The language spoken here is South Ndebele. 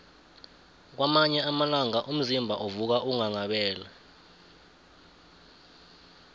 kwamanye amalanga umzimba uvuka unghanghabele